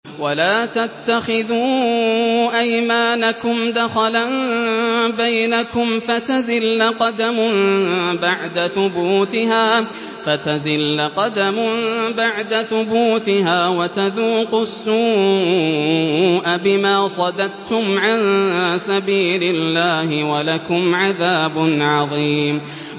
وَلَا تَتَّخِذُوا أَيْمَانَكُمْ دَخَلًا بَيْنَكُمْ فَتَزِلَّ قَدَمٌ بَعْدَ ثُبُوتِهَا وَتَذُوقُوا السُّوءَ بِمَا صَدَدتُّمْ عَن سَبِيلِ اللَّهِ ۖ وَلَكُمْ عَذَابٌ عَظِيمٌ